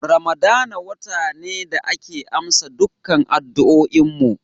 Ramadana wata ne da ake amsa dukkan addu'oin mu.